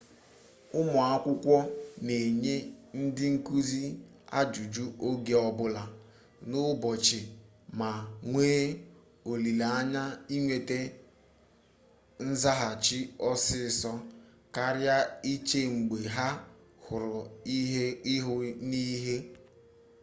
ụmụ akwụkwọ na-enye ndị nkụzi ajụjụ oge ọbụla n'ụbochị ma nwee olileanya inweta nzaghachi ọsịsọ karịa iche mgbe ha hụrụ ihu n'ihu